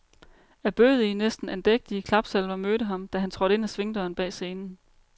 Ærbødige, næsten andægtige, klapsalver mødte ham, da han trådte ind ad svingdøren bag scenen.